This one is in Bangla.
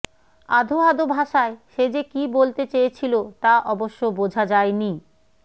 আধো আধো ভাষায় সে যে কী বলতে চেয়েছিল তা অবশ্য বোঝা যায়নি